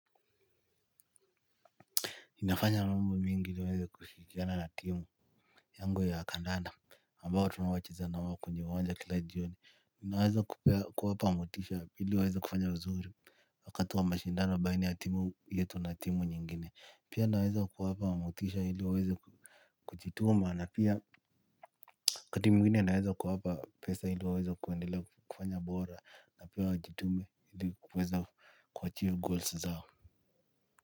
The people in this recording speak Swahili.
Ninafanya mambo mengi ili niweza kushirikiana na timu. Yango ya kandanda ambao tunawocheza na wao kwenye uwanja kila jioni ninaweza kuwapa motisha ili waweza kufanya vizuri. Wakati wa mashindano baina ya timu yetu na timu nyingine pia naweza kuwapa motisha ili waweza kujituma na pia waKati mwingine naweza kuwapa pesa ili waweza kuendelea kufanya bora na pia wajitume ili kuweza kuachive goals zao.